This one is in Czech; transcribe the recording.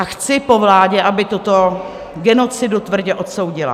A chci po vládě, aby tuto genocidu tvrdě odsoudila.